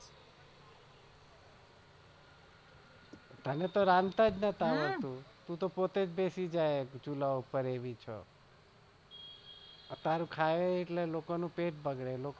અમે તો આ રાંધતા નાઈ હતા તું તો પોતે ચૂલા પાર એવી છે તારું ખાય તો લોકો નું પેટ બગાડે.